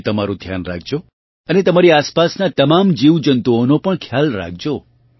તમે તમારું ધ્યાન રાખજો અને તમારી આસપાસના તમામ જીવજંતુઓનો પણ ખ્યાલ રાખજો